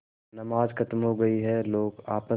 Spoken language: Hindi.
नमाज खत्म हो गई है लोग आपस